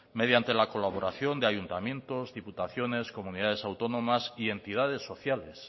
mediante la colaboración ayuntamientos diputaciones comunidades autónomas y entidades sociales